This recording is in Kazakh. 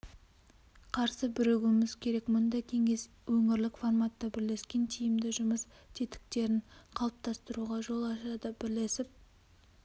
қарсы бірігуіміз керек мұндай кеңес өңірлік форматта бірлескен тиімді жұмыс тетіктерін қалыптастыруға жол ашады бірлесіп